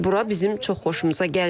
Bura bizim çox xoşumuza gəlir.